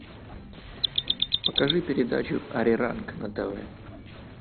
покажи передачу ариранг на тв